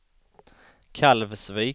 Kalvsvik